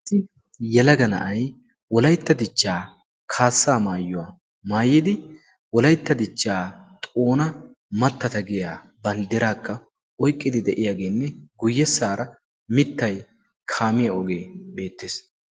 Yelaga na'ay wolaytta dichchaa kaassaa maayyuwaa maayidi wolaitta dichchaa xoona mattata giya banddiraakka oiqqidi de'iyaageenne guyyessaara mittay kaamiyaa ogee beettees.